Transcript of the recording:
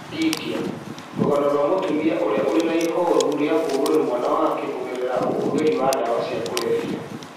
India: Rũgano rwa mũtumia ũrĩa ũrĩ na ihoru rĩa kũũrwo nĩ mwana wake kũgerera ũhũthĩri wa ndawa cia kũrebia